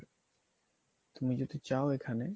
তুমি যদি চাও এখানে